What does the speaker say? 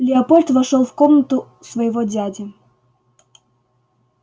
лепольд вошёл в комнату своего дяди